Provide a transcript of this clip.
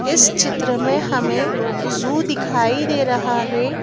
इस चित्र में हमें जू दिखाई दे रहा है।